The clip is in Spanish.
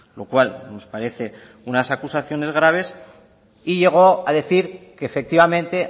lo cual nos parece unas acusaciones graves y llegó a decir que efectivamente